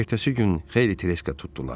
Ertəsi gün xeyli treşka tutdular.